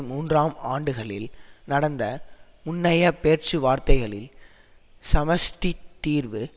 மூன்றுஆம் ஆண்டுகளில் நடந்த முன்னைய பேச்சுவார்த்தைகளில் சமஷ்டித் தீர்வு